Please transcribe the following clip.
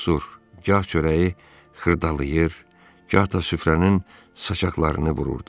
O susur, gah çörəyi xırdalayır, gah da süfrənin saçaqlarını vururdu.